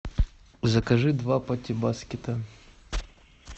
закажи два пати баскета